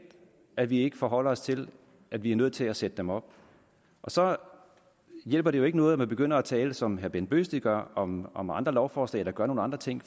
at vi ikke forholder os til at vi er nødt til at sætte dem op så hjælper det ikke noget at man begynder at tale som herre bent bøgsted gør om om andre lovforslag eller gør nogle andre ting